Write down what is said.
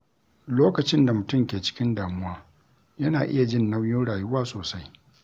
Lokacin da mutum ke cikin damuwa, yana iya jin nauyin rayuwa sosai.